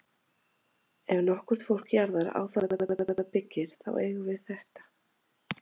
Ef nokkurt fólk jarðar á það land, sem það byggir, þá eigum við þetta.